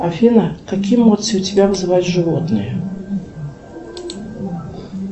афина какие эмоции у тебя вызывают животные